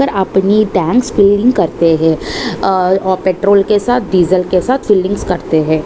पर अपनी tanks filling करते हैं और अह पेट्रोल के साथ डीजल के साथ फिलिंग्स करते हैं।